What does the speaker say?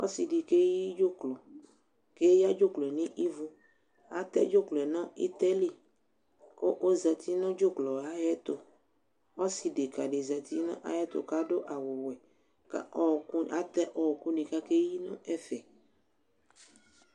Ɔsɩ di keyi dzʋklɔ Eyǝ dzʋklɔ yɛ nʋ ivu Atɛ dzʋklɔ yɛ nʋ ɩtɛ li, kʋ ozǝti nʋ dzʋklɔ yɛ ayʋ ɛtʋ Ɔsɩ dekǝ di zǝtɩ nʋ ayʋ ɛtʋ, kʋ adʋ awʋwɛ, kʋ atɛ ɔɔkʋ nɩ kʋ akeyi nʋ ɛfɛ